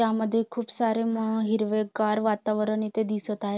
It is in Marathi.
त्यामध्ये खूप सारी म हिरवे गार वातावरण इथे दिसत आहे.